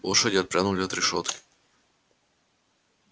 лошади отпрянули от решётки и насторожились